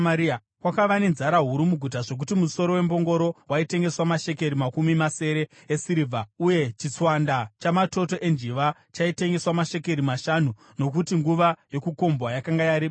Kwakava nenzara huru muguta zvokuti musoro wembongoro waitengeswa mashekeri makumi masere esirivha, uye chitswanda chamatoto enjiva chaitengeswa namashekeri mashanu ; nokuti nguva yokukombwa yakanga yarebesa.